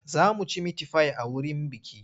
Za mu ci mitifai a wurin bukih.